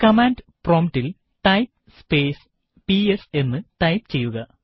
command promptൽ type space PS എന്ന് type ചെയ്യുക